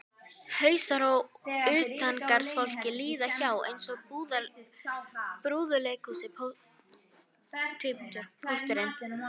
Hausar á utangarðsfólki líða hjá eins og í brúðuleikhúsi: Pósturinn